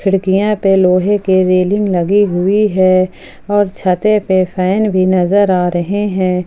खिड़कियों पर लोहे की रेलिंग लगी हुई है और छते पर फैन भी नजर आ रहा है।